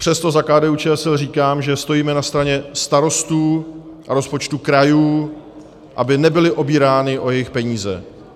Přesto za KDU-ČSL říkám, že stojíme na straně starostů a rozpočtů krajů, aby nebyli obíráni o jejich peníze.